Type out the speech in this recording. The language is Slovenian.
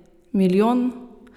Milijon?